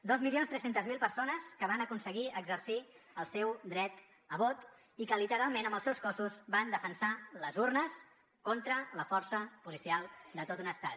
dos milions tres centes mil persones que van aconseguir exercir el seu dret a vot i que literalment amb els seus cossos van defensar les urnes contra la força policial de tot un estat